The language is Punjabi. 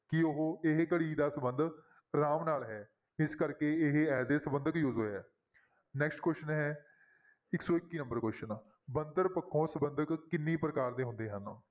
ਕਿ ਉਹ ਇਹ ਘੜੀ ਦਾ ਸੰਬੰਧ ਰਾਮ ਨਾਲ ਹੈ ਇਸ ਕਰਕੇ ਇਹ as a ਸੰਬੰਧਕ use ਹੋਇਆ next question ਹੈ ਇੱਕ ਸੌ ਇੱਕੀ number question ਬਣਤਰ ਪੱਖੋਂ ਸੰਬੰਧਕ ਕਿੰਨੇ ਪ੍ਰਕਾਰ ਦੇ ਹੁੰਦੇ ਹਨ?